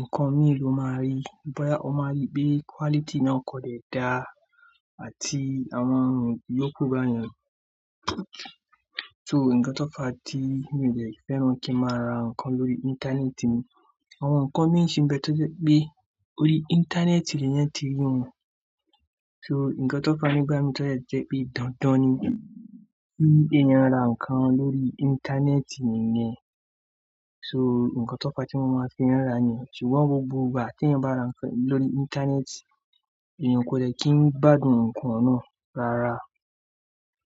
nǹkan mìíràn lo máa rí. Bí boya o máa rí pé quality náà kò le dà àti àwọn èrò yó kò bá yẹn. So nǹkan tó fà á tí mi ò le fẹ́ràn kí a máa ra nǹkan lórí Íńtánẹ́ẹ̀tì ni àwọn nǹkan tí ó ń ṣe bẹ́ẹ̀ tọ́ jẹ́ pé orí Íńtánẹ́ẹ̀tì nìyẹn ti rí wọn. So nǹkan tó fà á nígbà mìíràn tọ́ jẹ́ pé dandan ni kì èèyàn ra nǹkan lórí Íńtánẹ́ẹ̀tì nìyẹn. So nǹkan tó fà á tí mo máa fin un ra ni ṣùgbọ́n gbogbo ìgbà tí èèyàn bá ra nǹkan lórí Íńtánẹ́ẹ̀tì, èèyàn kò le kí n gbádùn nǹkan náà rárá.